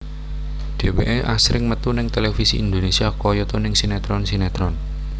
Dheweké asring metu ning televisi Indonésia kayata ning sinetron sinetron